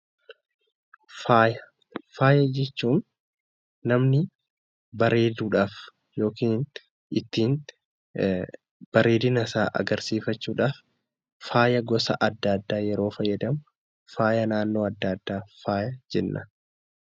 Faaya jechuun namni bareeduudhaaf yookiin ittiin bareedina isaa agarsiifachuudhaaf faaya gosa adda addaa yeroo fayyadamu, faaya naannoo adda addaa faaya jenna.